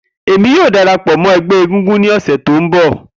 Emi yoo darapọ mọ ẹgbẹ egúngún ni ọsẹ ti n bọ.